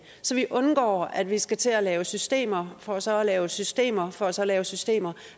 så vi undgår at vi skal til at lave systemer for så at lave systemer for så at lave systemer